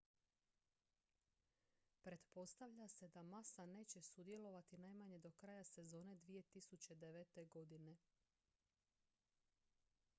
pretpostavlja se da massa neće sudjelovati najmanje do kraja sezone 2009. godine